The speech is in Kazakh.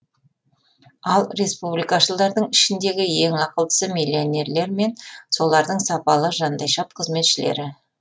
ал республикашылдардың ішіндегі ең ақылдысы миллионерлер мен солардың сапалы жандайшап қызметшілері